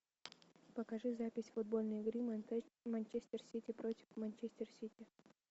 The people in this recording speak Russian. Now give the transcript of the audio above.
покажи запись футбольной игры манчестер сити против манчестер сити